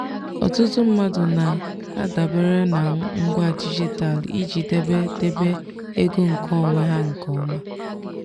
ọtụtụ mmadụ na-adabere na ngwa dijitalụ iji debe debe ego nkeonwe ha nke ọma.